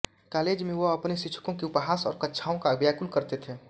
college में वह अपने शिक्षकों के उपहास और कक्षाओं का व्याकुल करते थे